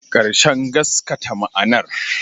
Ƙarshen gaskata ma'anar